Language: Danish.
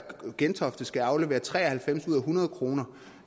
gentofte skal aflevere tre og halvfems kroner ud af hundrede kroner